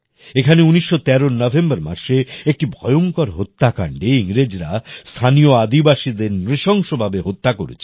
এখানে ১৯১৩র নভেম্বর মাসে একটি ভয়ংকর হত্যাকাণ্ডে ইংরেজরা স্থানীয় আদিবাসীদের নৃশংস ভাবে হত্যা করেছিল